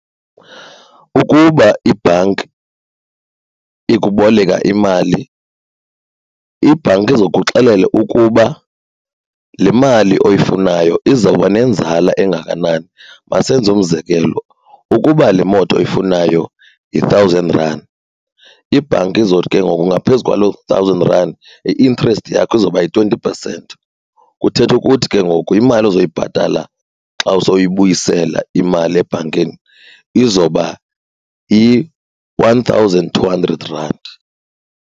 Ukuba ibhanki ikuboleka imali ibhanki izokuxelela ukuba le mali oyifunayo izawuba nenzala engakanani. Masenze umzekelo, ukuba le moto oyifunayo yi-thousand rand ibhanki izothi ke ngoku ngaphezu kwaloo thousand rand i-interest yakho izawuba yi-twenty percent. Kuthetha ukuthi ke ngoku imali ozoyibhatala xa sowubuyisela imali ebhankini izoba yi-one thousand two hundred rand.